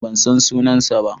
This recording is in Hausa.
Ban san sunansa ba.